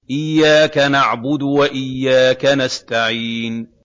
إِيَّاكَ نَعْبُدُ وَإِيَّاكَ نَسْتَعِينُ